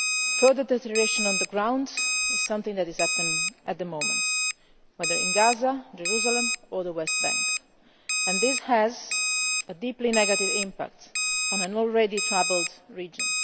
Further deterioration on the ground is happening at the moment, whether in Gaza, Jerusalem or the West Bank, and this has a deeply negative impact on an already troubled region.